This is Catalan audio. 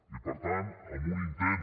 i per tant en un intent